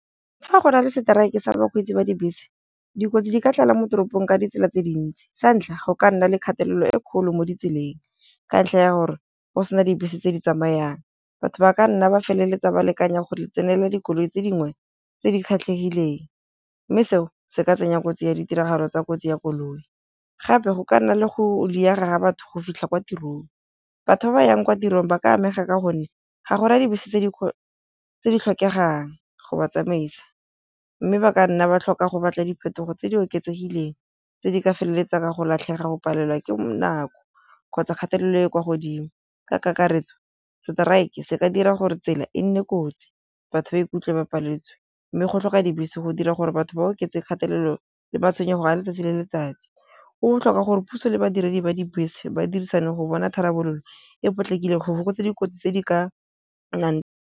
Fa go na le seteraeke sa bakgweetsi ba dibese, dikotsi di ke tlala mo toropong ka ditsela tse dintsi sa ntlha go ka nna le kgatelelo e kgolo mo ditseleng ka ntlha ya gore go sena dibese tse di tsamayang batho ba ka nna ba feleletsa ba lekanya go di tsenela dikoloi tse dingwe tse di kgethegileng, mme seo se ka tsenya kotsi ya ditiragalo tsa kotsi ya koloi. Gape go ka nna le go diega ga batho go fitlha kwa tirong, batho ba ba yang kwa tirong ba ka amega ka gonne ga go na dibese tse di tlhokegang go ba tsamaisa, mme ba ka nna ba tlhoka go batla diphetogo tse di oketsegileng tse di ka feleletsang ka go latlhega, go palelwa ke nako kgotsa kgatelelo e kwa godimo, ka kakaretso strike se ka dira gore tsela e nne kotsi batho ba ikutlwe ba palletswe, mme go tlhokega dibese go dira gore batho ba oketse kgatelelo le matshwenyego a letsatsi le letsatsi. Go botlhokwa gore puso le badiredi ba dibese ba dirisane go bona tharabololo e potlakileng go fokotsa dikotsi tse di ka nnang.